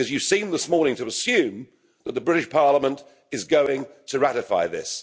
Because you seemed this morning to assume that the British Parliament is going to ratify this.